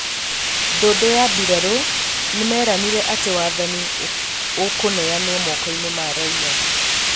Ndundu ya mbirarũ nĩmeranĩire atĩ wathani ũkũneanwo moko-ini ma raia